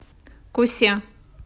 кусе